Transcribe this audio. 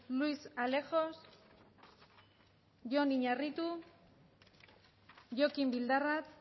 luis alejos jon iñarritu jokin bildarratz